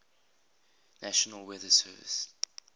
national weather service